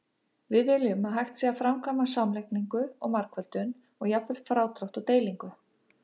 Við viljum að hægt sé að framkvæma samlagningu og margföldun, og jafnvel frádrátt og deilingu.